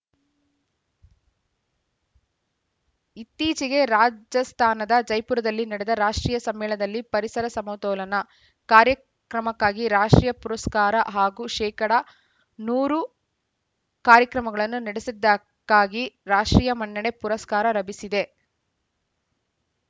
ಇತ್ತೀಚೆಗೆ ರಾಜಸ್ಥಾನದ ಜೈಪುರದಲ್ಲಿ ನಡೆದ ರಾಷ್ಟ್ರೀಯ ಸಮ್ಮೇಳನದಲ್ಲಿ ಪರಿಸರ ಸಮತೋಲನ ಕಾರ್ಯಕ್ರಮಕ್ಕಾಗಿ ರಾಷ್ಟ್ರೀಯ ಪುರಸ್ಕಾರ ಹಾಗೂ ಶೇಕಡಾ ನೂರು ಕಾರ್ಯಕ್ರಮಗಳನ್ನು ನಡೆಸಿದ್ದಕ್ಕಾಗಿ ರಾಷ್ಟ್ರೀಯ ಮನ್ನಣೆ ಪುರಸ್ಕಾರ ಲಭಿಸಿದೆ